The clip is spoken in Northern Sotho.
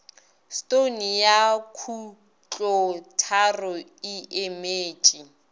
stone ya khutlotharo e emetše